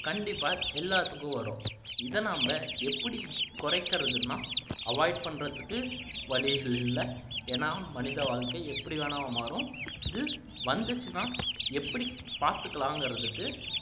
கண்ணடிப்பா எல்லாத்துக்கும் வரும் இதை நம்ம எப்படி குறைக்கிறதுன்னா avoid பண்றதுக்கு வழிகள் இல்லை ஏன்னா மனித வாழ்க்கை எப்படி வேணும்னா மாறும் இது வந்துச்சுன்னா எப்படி பாத்துக்கலாங்கிறதுக்கு